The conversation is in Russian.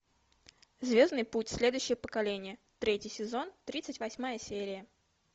звездный путь следующее поколение третий сезон тридцать восьмая серия